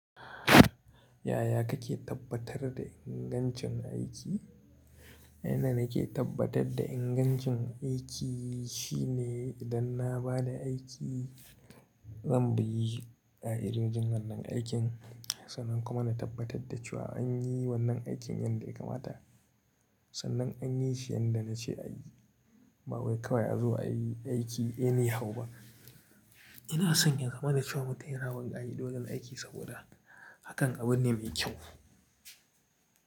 Yaya kake tabbatar da ingancin aiki? A yanda nake tabbatar da ingancin aiki shine idan na ba da aiki, zan bi Ƙa'idojin wannan aikin. Sannan kuma na tabbatar da cewa an yi wannan aikin yadda ya kamata. Sannan an yi shi yadda na ce a yi. Ba wai kawai a zo a yi aiki eni hau ba. Ina sanya yazama na cewa mutum yana bin ƙa'idojan aiki saboda hakan abu ne mai kyau.